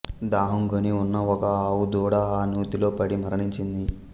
దాహం గొని ఉన్న ఒక ఆవు దూడ ఆ నూతిలోపడి మరణించింది